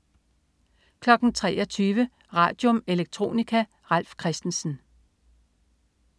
23.00 Radium. Electronica. Ralf Christensen